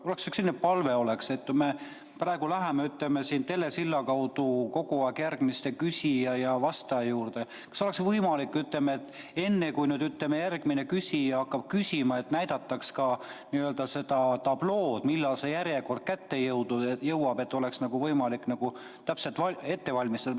Mul on selline palve, et kui me praegu siin telesilla kaudu järgmise küsija juurde läheme, siis kas oleks võimalik teha nii, et enne, kui järgmine küsija hakkab küsima, näidataks ka seda tablood, millal järjekord jõuab, et oleks võimalik end täpselt ette valmistada.